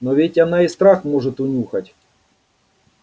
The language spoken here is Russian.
но ведь она и страх может унюхать